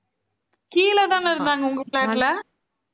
கீழ தானே இருந்தாங்க, உங்க flat ல?